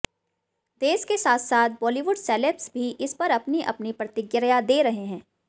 देश के साथ साथ बॉलीवुड सेलेब्स भी इस पर अपनी अपनी प्रतिक्रिया दे रहे हैं